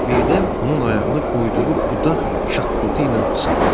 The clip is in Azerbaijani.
Birdən onun ayağını qoyduğu budaq şaqqıltı ilə sındı.